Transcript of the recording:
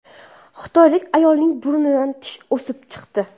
Xitoylik ayolning burnidan tish o‘sib chiqdi.